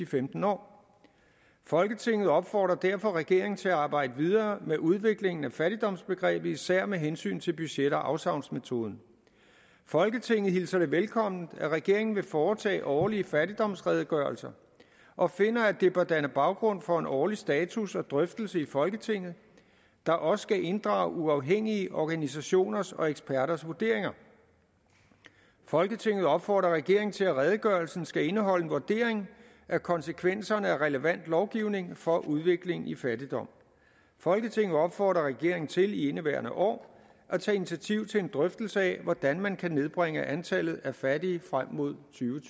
femten år folketinget opfordrer derfor regeringen til at arbejde videre med udviklingen af fattigdomsbegrebet især med hensyn til budget og afsavnsmetoden folketinget hilser det velkommen at regeringen vil foretage årlige fattigdomsredegørelser og finder at det bør danne baggrund for en årlig status og drøftelse i folketinget der også skal inddrage uafhængige organisationers og eksperters vurderinger folketinget opfordrer regeringen til at redegørelsen skal indeholde en vurdering af konsekvenserne af relevant lovgivning for udviklingen i fattigdom folketinget opfordrer regeringen til i indeværende år at tage initiativ til en drøftelse af hvordan man kan nedbringe antallet af fattige frem mod